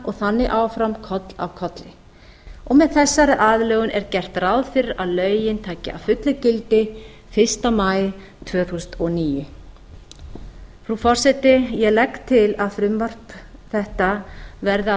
og þannig áfram koll af kolli með þessari aðlögun er gert ráð fyrir að lögin taki að fullu gildi fyrsta maí tvö þúsund og níu frú forseti ég legg til að frumvarp þetta verði að